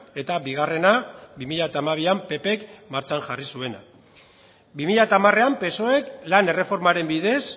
eta bigarrena bi mila hamabian ppk martxan jarri zuena bi mila hamarean psoek lan erreformaren bidez